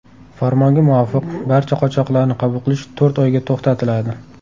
Farmonga muvofiq, barcha qochoqlarni qabul qilish to‘rt oyga to‘xtatiladi.